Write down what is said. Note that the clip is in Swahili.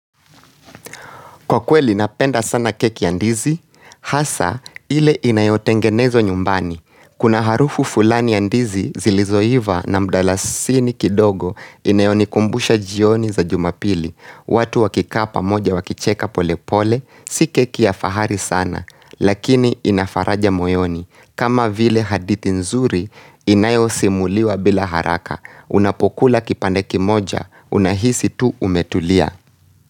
Kwa kweli napenda sana keki ya ndizi, hasa ile inayotengenezwa nyumbani. Kuna harufu fulani ya ndizi zilizoiva na mdalasini kidogo inayonikumbusha jioni za jumapili. Watu wakikaa pamoja wakicheka pole pole, si keki ya fahari sana, lakini ina faraja moyoni. Kama vile hadithi nzuri inayosimuliwa bila haraka, unapokula kipande kimoja, unahisi tu umetulia.